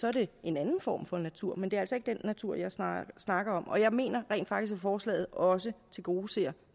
er det en anden form for natur men det er altså ikke den natur jeg snakker snakker om og jeg mener rent faktisk at forslaget også tilgodeser